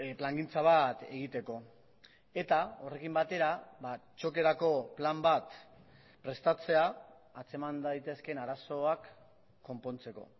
plangintza bat egiteko eta horrekin batera txokerako plan bat prestatzea atzeman daitezkeen arazoak konpontzeko